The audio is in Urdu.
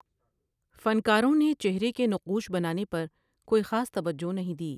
فنکاروں نے چہرے کے نقوش بنانے پر کوئی خاص توجہ نہیں دی ۔